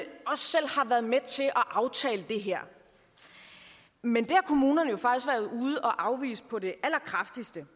aftale det her men det har kommunerne at afvise på det allerkraftigste